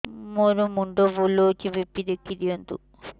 ମୋର ମୁଣ୍ଡ ବୁଲେଛି ବି.ପି ଦେଖି ଦିଅନ୍ତୁ